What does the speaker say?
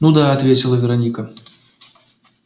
ну да ответила вероника